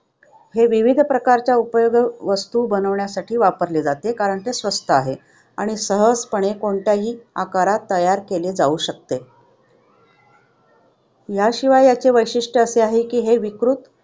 हे विविध प्रकारच्या उपयोगी वस्तू बनवण्यासाठी वापरले जाते कारण ते स्वस्त आहे आणि सहजपणे कोणत्याही आकारात तयार केले जाऊ शकते. याशिवाय याचे वैशिष्ट्य असे आहे की हे विकृत